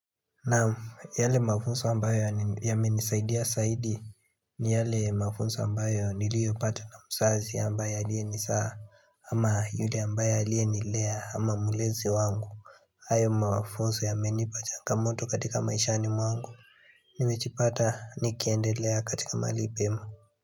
Naam, yale mafunzo ambayo yamenisaidia zaidi ni yale mafunzo ambayo niliopato na mzazi ambayo aliyenizaa ama yule ambaye aliyenilea ama mlezi wangu hayo mafunzo yamenipa changamoto katika maishani mwangu Nimejipata nikiendelea katika mahali pema.